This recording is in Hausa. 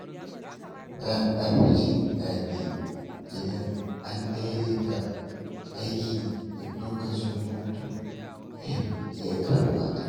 Za a fi jin daɗi idan an daidaita aiki da lokacin hutu yadda ya kamata.